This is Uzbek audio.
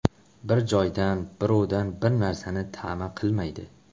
Bir joydan, birovdan bir narsani ta’ma qilmaydi.